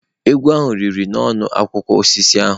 Egwu ahụ riri nnọọ akwụkwọ osisi ahụ.